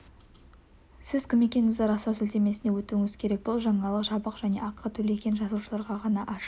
сіз кім екендігіңізді растау сілтемесіне өтуіңіз керек бұл жаңалық жабық және ақы төлеген жазылушыларға ғана ашық